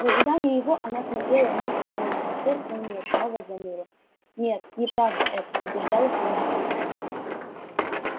в ожидании его она смотрела вниз с холма и сердце у неё снова заныло нет неправда это убеждала себя она